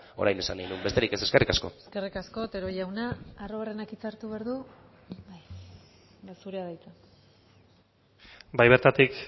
orain esan nahi nuen besterik ez eskerrik asko eskerrik asko otero jauna arruabarrenak hitza hartu behar du bai zurea da hitza bai bertatik